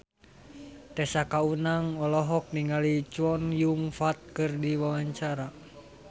Tessa Kaunang olohok ningali Chow Yun Fat keur diwawancara